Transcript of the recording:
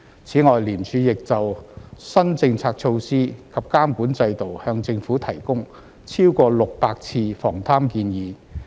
此外，廉署亦就新政策措施及監管制度向政府提供超過600次防貪建議。